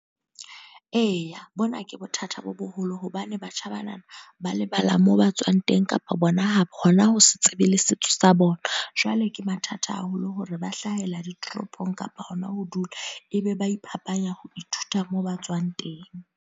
Eya, bona ke bothata bo boholo. Hobane batjha banana, ba lebala moo ba tswang teng. Kapa bona hona ho se tsebe le setso sa bona. Jwale ke mathata haholo hore ba hlahela ditoropong kapa hona ho dula. E be ba iphapanya ho ithuta moo ba tswang teng.